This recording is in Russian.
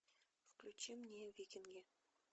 включи мне викинги